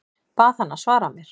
Bað hana að svara mér.